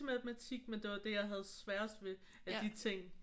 Matematik men det var det jeg havde sværest ved af de ting